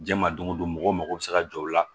Jama dongo don mɔgɔw mago bɛ se ka jɔ o la